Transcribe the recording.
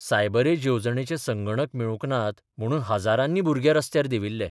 Cyber age येवजणेचे संगणक मेळूक नात म्हणून हजारांनी भुरंगे रस्त्यार देविल्ले.